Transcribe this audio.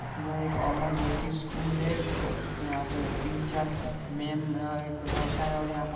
''यहाँ पे कोमा ज्योति स्कूल है इसके यहाँ पे तीन-चार मेम और एक लड़का है और यहाँ पर--''